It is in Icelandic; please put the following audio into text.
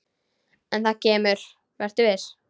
En það kemur, vertu viss.